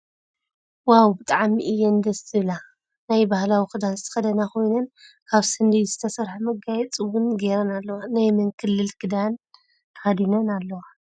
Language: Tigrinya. ዋው ብጣዐሚ እያን ደስ ዝብላ ናይ ባህላዊ ክዳን ዝተከደና ኮይነን ካብ ስንዲድ ዝተሰረሐ መጋየፂ እውን ገይረን ኣለዋ። ናይ መን ክልል ክዳን ተከዲነን ኣለዋ?